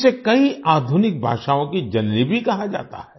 इसे कई आधुनिक भाषाओँ की जननी भी कहा जाता है